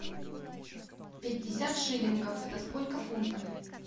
пятьдесят шиллингов это сколько фунтов